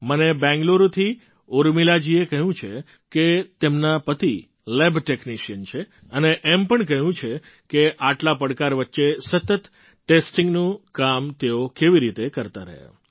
મને બેંગ્લુરુથી ઊર્મિલાજીએ કહ્યું છે કે તેમના પતિ લેબ ટૅક્નિશિયન છે અને એમ પણ કહ્યું છે કે આટલા પડકાર વચ્ચે સતત ટેસ્ટિંગનું કામ તેઓ કેવી રીતે કરતા રહ્યા